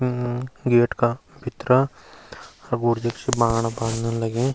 गेट का भितरा सगोर देखि लगीं।